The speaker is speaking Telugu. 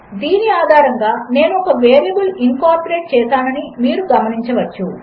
దీనిఆధారంగా నేనుఒకవేరియబుల్ఇన్కార్పొరేట్చేసాననిమీరుగమనించవచ్చు